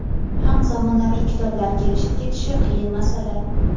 ham zamonaviy kitoblar kelishib ketishi qiyin masala.